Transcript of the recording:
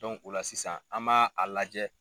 o la sisan an m'a a lajɛ